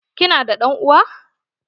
Ki na da ɗan'uwa?